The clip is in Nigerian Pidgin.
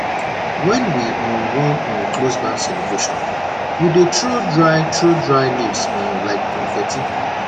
wen we um wan um close barn celebration we dey throw dry throw dry leaves um like confetti